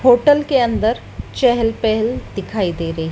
hotel के अंदर चहेल पहेल दिखाई दे रही--